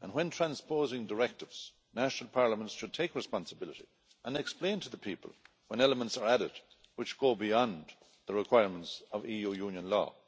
and, when transposing directives, national parliaments should take responsibility and explain to the people when elements are added which go beyond the requirements of EU Union law.